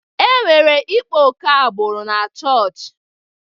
E nwere ịkpa ókè agbụrụ na-chọọchị.